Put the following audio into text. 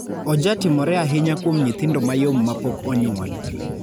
Ojatimore ahinya kuom nyithindo mayom ma pok onyuol.